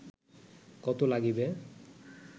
কত লাগিবে